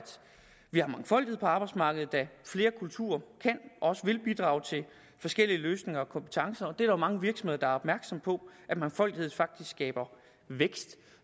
vi har mangfoldighed på arbejdsmarkedet da flere kulturer kan og også vil bidrage til forskellige løsninger og kompetencer mange virksomheder er opmærksomme på at mangfoldighed faktisk skaber vækst